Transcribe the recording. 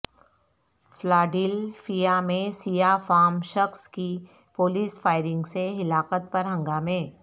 Philadelphia میں سیاہ فام شخص کی پولیس فائرنگ سے ہلاکت پر ہنگامے